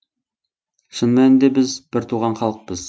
шын мәнінде біз біртуған халықпыз